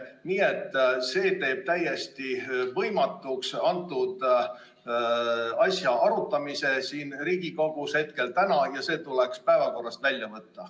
Nii et see teeb täna selle asja arutamise siin Riigikogus täiesti võimatu ja see tuleks päevakorrast välja võtta.